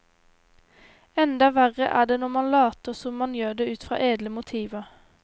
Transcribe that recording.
Enda verre er det når man later som man gjør det ut fra edle motiver.